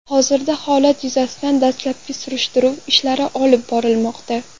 Hozirda holat yuzasidan dastlabki surishtiruv ishlari olib borilmoqda.